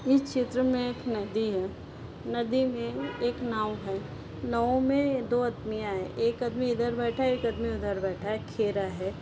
इस चित्र में एक नदी है। नदी मे एक नाव है। नाव में दो अदमिया है। एक आदमी इधर बैठा है एक आदमीं उधर बैठा है एक खे रहा है।